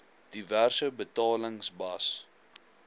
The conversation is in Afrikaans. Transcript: diverse betalings bas